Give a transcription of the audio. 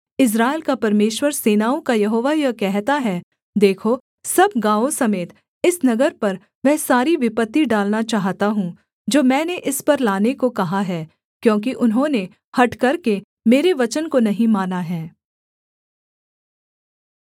इस्राएल का परमेश्वर सेनाओं का यहोवा यह कहता है देखो सब गाँवों समेत इस नगर पर वह सारी विपत्ति डालना चाहता हूँ जो मैंने इस पर लाने को कहा है क्योंकि उन्होंने हठ करके मेरे वचन को नहीं माना है